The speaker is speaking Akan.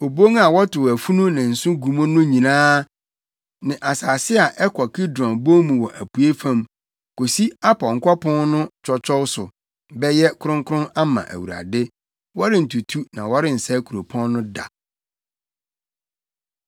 Obon a wɔtow afunu ne nsõ gu mu no nyinaa ne asase a ɛkɔ Kidron bon mu wɔ apuei fam, kosi apɔnkɔ pon no twɔtwɔw so bɛyɛ kronkron ama Awurade. Wɔrentutu na wɔrensɛe kuropɔn no da.”